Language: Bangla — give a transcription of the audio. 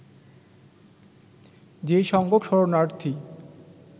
যে সংখ্যক শরণার্থী